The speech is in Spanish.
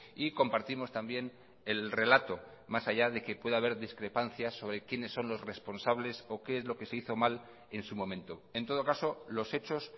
y compartimos también el relato más allá de que pueda haber discrepancias sobre quiénes son los responsables o qué es lo que se hizo mal en su momento en todo caso los hechos